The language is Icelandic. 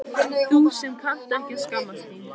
Þú sem kannt ekki að skammast þín.